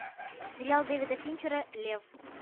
сериал дэвида финчера лев